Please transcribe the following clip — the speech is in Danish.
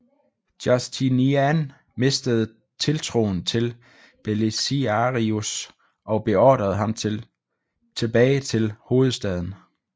Justinian mistede tiltroen til Belisarius og beordrede ham tilbage til hovedstaden